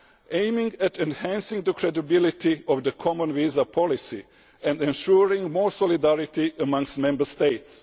aiming at enhancing the credibility of the common visa policy and ensuring more solidarity amongst Member States.